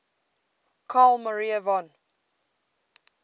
carl maria von